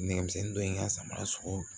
Nɛgɛmisɛnnin dɔ ye n ka samara sɔsɔ